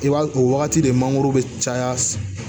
I b'a o wagati de mangoro be caya